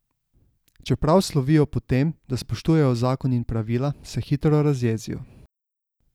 Čeprav slovijo po tem, da spoštujejo zakon in pravila, se hitro razjezijo.